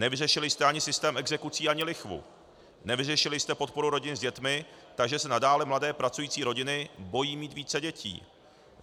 Nevyřešili jste ani systém exekucí ani lichvu, nevyřešili jste podporu rodin s dětmi, takže se nadále mladé pracující rodiny bojí mít více dětí.